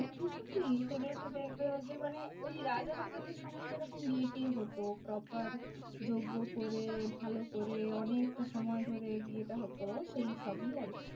সেগুলোতে দেখবে ওই যে মানে ওই রাজা রাজা দের সময় যেরকম বিয়ে টিএ হতো proper যজ্ঞ করে, ভালো করে, অনেকটা সময় ধরে বিয়েটা হতো সেই সবই আরকি।